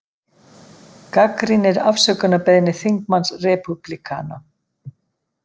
Gagnrýnir afsökunarbeiðni þingmanns repúblikana